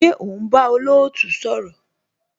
Ṣé o ń bá olootu sọ̀rọ̀?